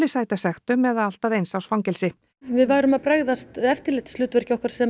sæta sektum eða allt að eins árs fangelsi við værum að bregðast eftirlitshlutverki okkar sem